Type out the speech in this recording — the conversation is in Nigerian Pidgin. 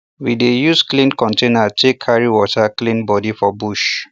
we dey use clean container take carry water clean body for bush